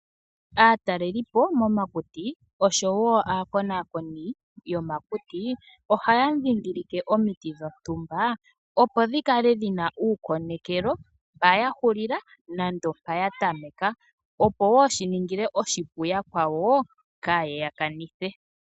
Aatalelipo momakuti noshowo aakonakoni yomakuti ohaya ndhindhilike omiti dhontumba, opo dhi kale dhi na uukonekelo mpa ya hulila nenge mpa ya tameka, opo wo shi ningile yakwawo oshipu kaye ya kanithe.